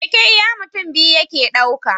Keke iya mutun biyu yake ɗauka